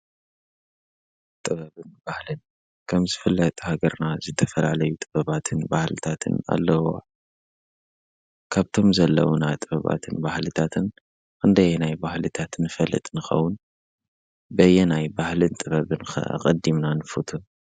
ጥበብን ባህልን ከም ዝፈለጥ ሃገርና ዘተፈላለዩ ጥበባትን ባህልታትን ኣለዉዋ ካብቶም ዘለዉና ጥበባትን ባህልታትን እንደየናይ ባሕልታትን ፈልጥንኸዉን በየናይ ባህልን ጥበብን ቐዲምና ንፉተ።